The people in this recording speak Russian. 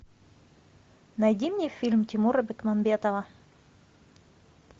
найди мне фильм тимура бекмамбетова